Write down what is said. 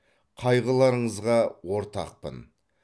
қайғыларыңызға ортақпын